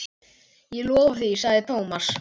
Ég lofa því sagði Thomas.